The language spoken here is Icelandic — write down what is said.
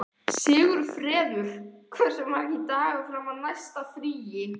Sigfreður, hversu margir dagar fram að næsta fríi?